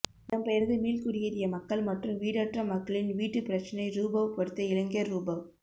இடம்பெயர்ந்து மீள்குடியேறிய மக்கள் மற்றும் வீடற்ற மக்களின் வீட்டுப் பிரச்சினைரூபவ் படித்த இளைஞர்ரூபவ்